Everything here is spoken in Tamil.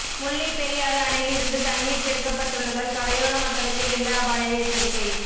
முல்லைப்பெரியாறு அணையிலிருந்து தண்ணீர் திறக்கப்பட்டுள்ளதால் கரையோர மக்களுக்கு வெள்ள அபாய எச்சரிக்கை